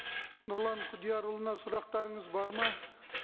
нұрлан құдиярұлына сұрақтарыңыз бар ма